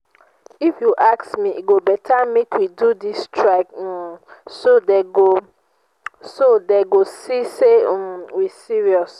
if you ask me e go beta make we do dis strike um so dey go so dey go see say um we serious